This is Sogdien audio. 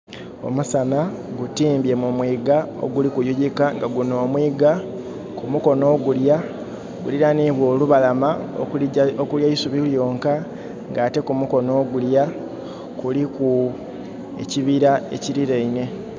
Omusana gu timbye mu mwiga oguli kuyuyikka nga gunno omwiga kumukono ogulya gulirainibwa olubalama okuli eisubi lyonka nga ate kumukono ogulya kuliku ekibira ekiliraine